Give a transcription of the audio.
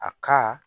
A ka